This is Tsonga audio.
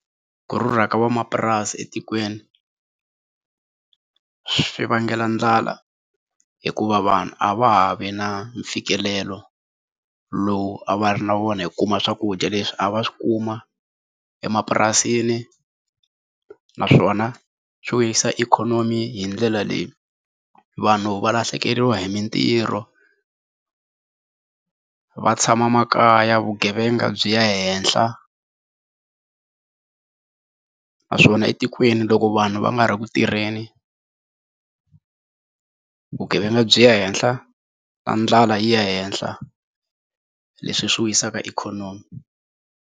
Ku rhurha ka van'wamapurasi etikweni swi vangela ndlala hikuva vanhu a va ha vi na mfikelelo lowu a va ri na wona hi kuma swakudya leswi a va swi kuma emapurasini naswona swi vuyerisa ikhonomi hi ndlela leyi, vanhu va lahlekeriwa hi mintirho va tshama makaya vugevenga byi ya henhla naswona etikweni loko vanhu va nga ri ku tirheni vugevenga byi ya henhla na ndlala yi ya henhla leswi hi swi wisaka ikhonomi.